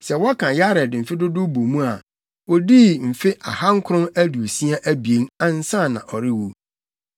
Sɛ wɔka Yared mfe dodow bɔ mu a, odii mfe ahankron aduosia abien, ansa na ɔrewu.